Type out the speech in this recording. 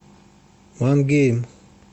мангейм